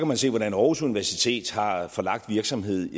man se hvordan aarhus universitet har har forlagt virksomhed